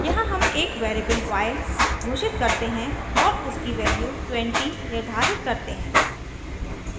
यहाँ हम एक वेरिएबल y घोषित करते हैं और उसकी वैल्यू 20 निर्धारित करते हैं